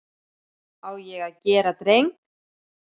Á ég að gera dreng?